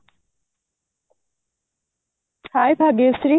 hye Bhagyashree